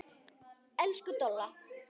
Elsku Dolla.